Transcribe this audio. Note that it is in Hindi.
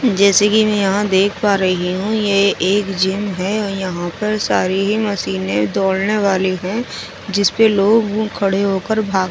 जैसे की में यहाँ देख पा रही हूँ ये एक जिम है और यहाँ पार सारी ही मशीने दौड़ ने वाली है जिस पे लोग खाड़े हो कर भागते है ।